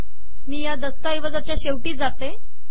मी या दस्तऐवजाच्या शेवटी जाते